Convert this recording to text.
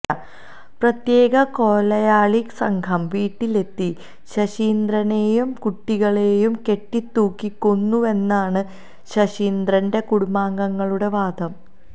പ്രത്യേക കൊലയാളി സംഘം വീട്ടിലെത്തി ശശീന്ദ്രനെയും കുട്ടികളെയും കെട്ടിത്തൂക്കി കൊന്നുവെന്നാണു ശശീന്ദ്രന്റെ കുടുംബാംഗങ്ങളുടെ വാദം